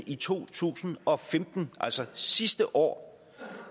i to tusind og femten altså sidste år